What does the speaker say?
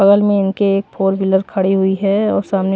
बगल में इनके एक फोर व्हीलर खड़ी हुई है और सामने--